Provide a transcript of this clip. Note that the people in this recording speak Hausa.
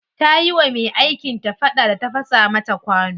Ta yi wa me aikin ta fada da ta fasa mata kwano.